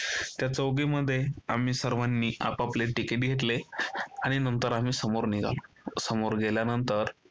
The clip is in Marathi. त्या चौकीमध्ये आम्ही सर्वांनी आपापले तिकीट घेतले आणि नंतर आम्ही समोर निघालो. समोर गेल्यानंतर